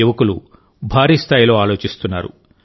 యువకులు భారీస్థాయిలో ఆలోచిస్తున్నారు